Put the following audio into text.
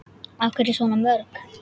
Af hverju svona mörg?